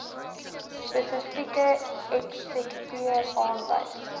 spesifieke eksekuteur aanwys